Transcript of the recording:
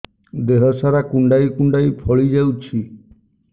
ଦେହ ସାରା କୁଣ୍ଡାଇ କୁଣ୍ଡାଇ ଫଳି ଯାଉଛି